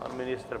Pan ministr?